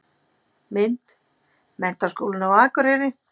Mynd: Menntaskólinn á Akureyri.